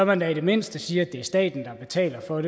man da i det mindste sige at det er staten der betaler for